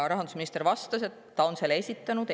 Rahandusminister vastas, et ta on selle esitanud.